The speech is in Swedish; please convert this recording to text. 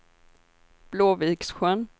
Blåviksjön